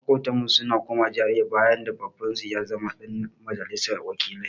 Maƙotanmu sun koma GRA bayan da Babansu ya zama ɗan majalisar wakilai.